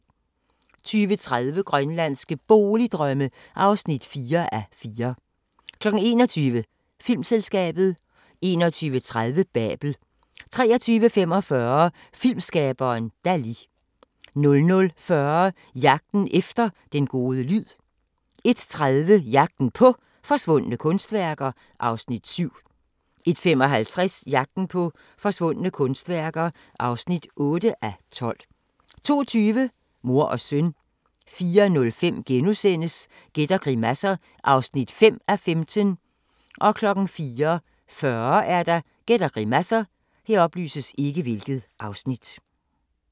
20:30: Grønlandske Boligdrømme (4:4) 21:00: Filmselskabet 21:30: Babel 23:45: Filmskaberen Dali 00:40: Jagten efter den gode lyd 01:30: Jagten på forsvundne kunstværker (7:12) 01:55: Jagten på forsvundne kunstværker (8:12) 02:20: Mor og søn 04:05: Gæt og grimasser (5:15)* 04:40: Gæt og grimasser